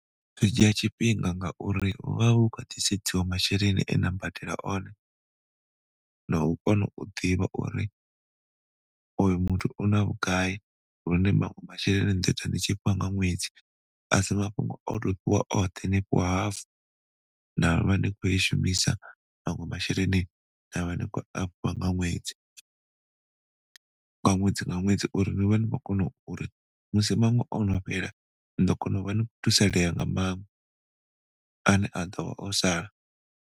Dzi dzhi a tshifhinga ngauri hu vha hu khaḓi sedziwa masheleni e na badela one na u kona u ḓivha uri oyu muthu una vhugai lune maṅwe masheleni ni ḓo ita ni tshifhiwa nga ṅwedzi asi mafhungo o to fhiwa oṱhe ni fhiwa half na vha ni khou i shumisa maṅwe masheleni na vha ni khou a fhiwa nga ṅwedzi. Nga ṅwedzi nga ṅwedzi uri ni vha ni khou kona uri musi maṅwe ono fhela ni ḓo kona u vha ni khou thusalea nga maṅwe ane a ḓo vha o sala.